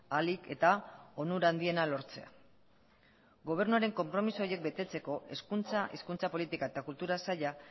ahalik eta onura handiena lortzea gobernuaren konpromiso horiek betetzeko hezkuntza hizkuntza politika eta kultura saila